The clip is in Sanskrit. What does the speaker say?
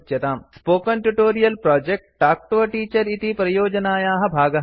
spoken tutorial project talk to a teacher इति परियोजनायाः भागः अस्ति